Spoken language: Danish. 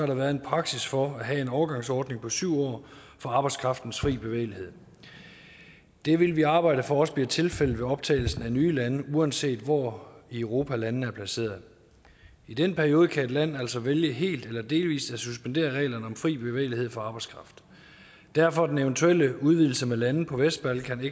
der været en praksis for at have en overgangsordning på syv år for arbejdskraftens fri bevægelighed det vil vi arbejde for også bliver tilfældet med optagelsen af nye lande uanset hvor i europa landene er placeret i den periode kan et land altså vælge helt eller delvis at suspendere reglerne om fri bevægelighed for arbejdskraft derfor er den eventuelle udvidelse med lande på vestbalkan